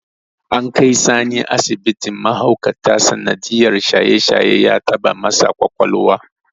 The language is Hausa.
An kai Sani asibitin mahaukata sanadiyyar shaye-shaye ya taɓa masa ƙwaƙwalwa.